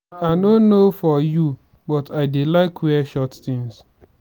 i no know for you but i dey like wear short things